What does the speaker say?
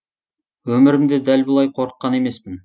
өмірімде дәл бұлай қорыққан емеспін